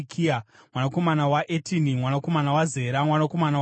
mwanakomana waEtini, mwanakomana waZera, mwanakomana waAdhaya,